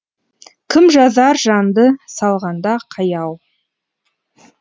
кім жазар жанды салғанда қаяу